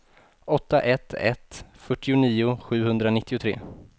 åtta ett ett ett fyrtionio sjuhundranittiotre